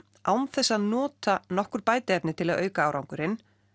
án þess að nota nokkur bætiefni til að auka árangurinn